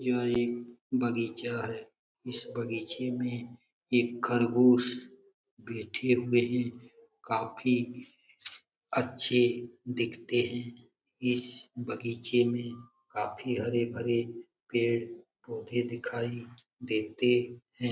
यह एक बगीचा है इस बगीचे में एक खरगोश बैठे हुए हैं काफी अच्छे दिखते हैं इस बगीचे में काफी हरे-भरे पेड़ पौधे दिखाई देते हैं।